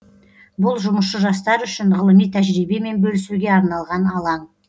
бұл жұмысшы жастар үшін ғылыми тәжірибемен бөлісуге арналған алаң